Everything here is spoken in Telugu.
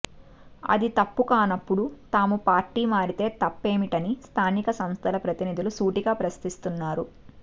అది తప్పు కానప్పుడు తాము పార్టీ మారితే తప్పేమిటని స్థానిక సంస్థల ప్రతినిధులు సూటిగా ప్రశ్నిస్తున్నారు